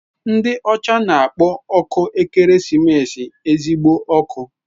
Ndị ọcha na-akpọ ọkụ ekeresimesi "ezigbo ọkụ."